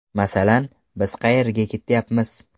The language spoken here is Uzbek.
Masalan, biz qayerga ketyapmiz.